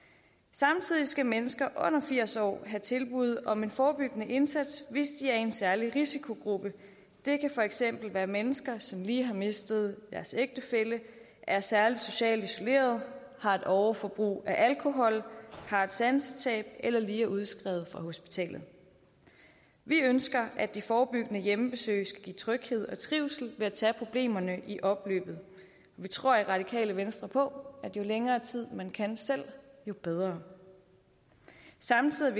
samtidig skal mennesker under firs år have tilbud om en forebyggende indsats hvis de er i en særlig risikogruppe det kan for eksempel være mennesker som lige har mistet deres ægtefælle er særlig socialt isolerede har et overforbrug af alkohol har et sansetab eller lige er udskrevet fra hospitalet vi ønsker at de forebyggende hjemmebesøg skal give tryghed og trivsel ved at tage problemerne i opløbet vi tror i radikale venstre på at jo længere tid man kan selv jo bedre samtidig